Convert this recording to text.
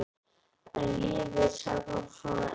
En lífið er sjaldan svona einfalt.